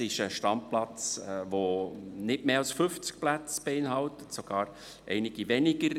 Es ist ein Standplatz, der nicht mehr als 50 Plätze beinhaltet, sogar einige weniger.